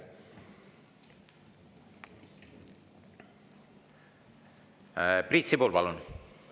Priit Sibul, palun!